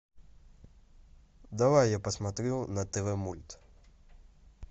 давай я посмотрю на тв мульт